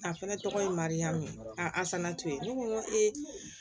A fɛnɛ tɔgɔ ye maya min ye asanatu ye ne ko n ko ee